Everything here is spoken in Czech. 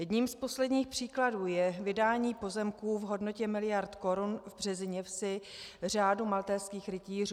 Jedním z posledních příkladů je vydání pozemků v hodnotě miliard korun v Březiněvsi řádu maltézských rytířů.